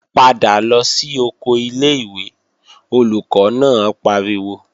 Padà lọ sí oko ilé-ìwé, Olùkọ́ náà pariwo!